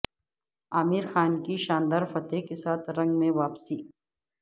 عامر خان کی شاندار فتح کے ساتھ رنگ میں واپسی